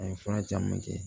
A ye fura caman kɛ